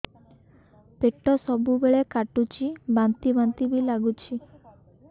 ପେଟ ସବୁବେଳେ କାଟୁଚି ବାନ୍ତି ବାନ୍ତି ବି ଲାଗୁଛି